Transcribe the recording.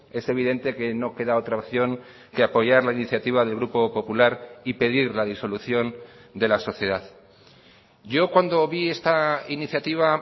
es evidente que no queda otra opción que apoyar la iniciativa del grupo popular y pedir la disolución de la sociedad yo cuando vi esta iniciativa